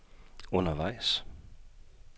undervejs